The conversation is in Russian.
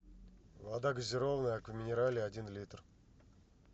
вода газированная аква минерале один литр